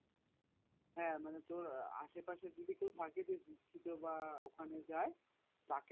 হ্যাঁ মানে তোর আসে পাশে যদি কেউ থাকে দীক্ষিত বা ওখানে যায় তাকে